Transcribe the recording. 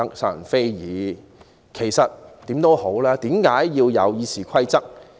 無論如何，其實為何要有《議事規則》？